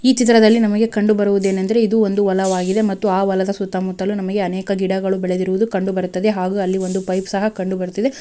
ಈ ಚಿತ್ರದಲ್ಲಿ ನಮಗೆ ಕಂಡು ಬರುವುದೇನೆಂದರೆ ಇದು ಒಂದು ಹೊಲವಾಗಿದೆ ಮತ್ತು ಆ ಹೊಲದ ಸುತ್ತಮುತ್ತಲು ನಮಗೆ ಅನೇಕ ಗಿಡಗಳು ಬೆಳೆದಿರುವುದು ಕಂಡು ಬರುತ್ತದೆ ಹಾಗು ಅಲ್ಲಿ ಒಂದು ಪೈಪು ಸಹ ಕಂಡು ಬರುತ್ತದೆ.